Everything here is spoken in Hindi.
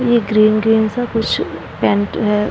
ये ग्रीन -ग्रीन सा कुछ पेंट है।